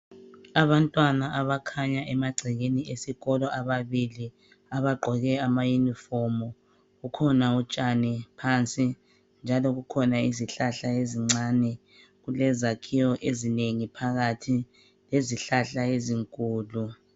Abantwana abakhanya emagcekeni esikolo ababili abagqoke amayinifomu. Kukhona utshani phansi njalo kukhona izihlahla ezincane kulezakhiwo ezinengi phakathi lezihlahla ezinkulu.